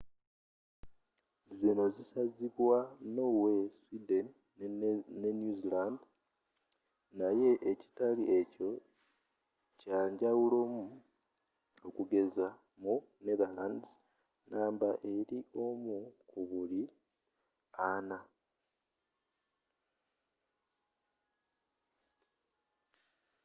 zino zisazibwa norway sweden ne new zealand naye ekitali ekyo kyanjawulomu okugeza mu netherlands namba eri omu ku buli ana